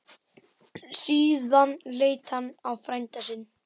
Síðan leit hann á frænda sinn.